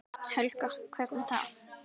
Þannig fær hann vissan bata.